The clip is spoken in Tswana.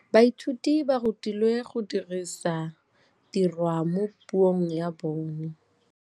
Baithuti ba rutilwe go dirisa tirwa mo puong ya bone.